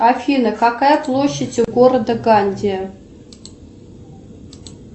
афина какая площадь у города ганди